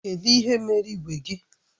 Kedụ ihe mere igwe gị?